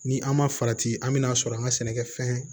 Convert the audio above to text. Ni an ma farati an mina sɔrɔ an ka sɛnɛkɛfɛn